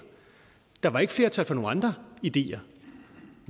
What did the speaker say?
der var ikke flertal for nogle andre ideer